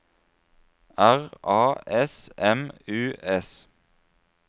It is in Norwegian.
R A S M U S